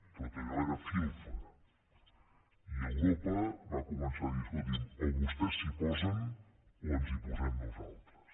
tot allò era filfa i europa va començar a dir escolti’m o vostès s’hi posen o ens hi posem nosaltres